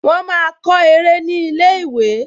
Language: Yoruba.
Wọ́n máa kọ eré ní ilé-ìwé